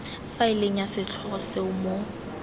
faeleng ya setlhogo seo mo